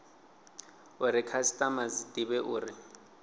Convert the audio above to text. uri khasitama dzi divhe uri